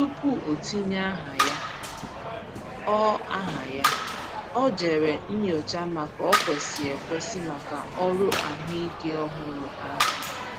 Tupu o tinye aha ya, ọ aha ya, ọ jèrè nyochaa ma ò kwesị ekwesi maka ọrụ ahụike ọhụrụ ahụ.